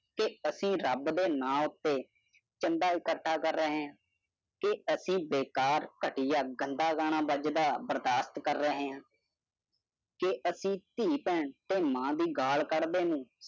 ਤੇ ਐਸੀ ਰਬ ਦੇ ਨਾਂ ਉਤੇ ਚੰਦਾ ਇਕੱਠਾ ਕਰ ਰਹੇ ਹੈ। ਤੇ ਐਸੀ ਬੇਕਾਰ ਗਤੀਆਂ ਗੰਦਾ ਗਾਣਾ ਬਾਜ਼ਦਾ ਬਰਦਾਸ਼ਤ ਕਰ ਰਹੇ ਹੈ। ਕੇ ਐਸੀ ਥੀ ਬੈਣੰ ਤੇ ਮਾਂ ਦੀ ਗਾਲ ਕੱਢਦੇ ਨੇ।